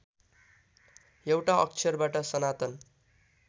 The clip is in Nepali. एउटा अक्षरबाट सनातन